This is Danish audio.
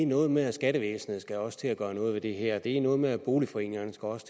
noget med at skattevæsenet også skal til at gøre noget ved det her det er noget med at boligforeningerne også